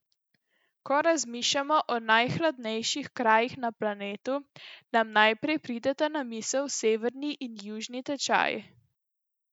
Ko razmišljamo o najhladnejših krajih na planetu, nam najprej prideta na misel severni in južni tečaj.